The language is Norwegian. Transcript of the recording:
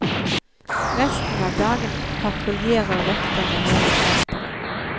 Resten av dagen patruljerer vekterne hele senteret.